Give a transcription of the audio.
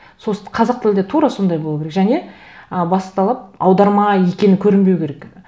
қазақ тілінде тура сондай болу керек және ы басты талап аударма екені көрінбеу керек